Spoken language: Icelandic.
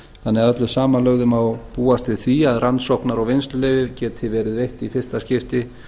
þannig að öllu samanlögðu má búast við því að rannsóknar og vinnsluleyfið geti verið veitt í fyrsta skipti